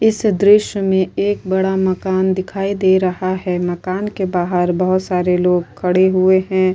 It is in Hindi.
इस दृश्य में एक बड़ा मकान दिखाई दे रहा है मकान के बाहार बहुत सारे लोग खड़े हुए है ।